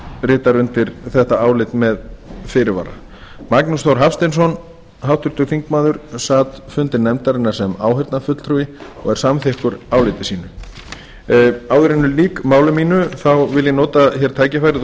ritar undir þetta álit með fyrirvara háttvirtir þingmenn magnús þór hafsteinsson sat fundi nefndarinnar sem áheyrnarfulltrúi og er samþykkur áliti sínu áður en ég lýk máli mínu vil ég nota tækifærið og